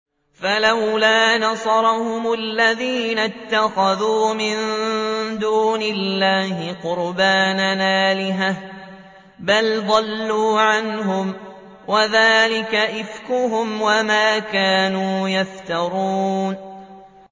فَلَوْلَا نَصَرَهُمُ الَّذِينَ اتَّخَذُوا مِن دُونِ اللَّهِ قُرْبَانًا آلِهَةً ۖ بَلْ ضَلُّوا عَنْهُمْ ۚ وَذَٰلِكَ إِفْكُهُمْ وَمَا كَانُوا يَفْتَرُونَ